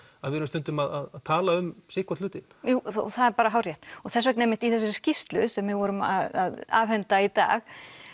við erum stundum að tala um sitthvorn hlutinn jú það er hárrétt og þess vegna einmitt í þessari skýrslu sem við vorum að afhenda í dag